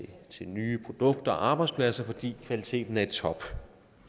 til nye produkter og arbejdspladser fordi kvaliteten er i top